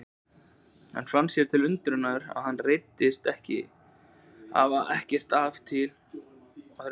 Hann fann sér til undrunar að hann reiddist ekki, hafði ekkert afl til að reiðast.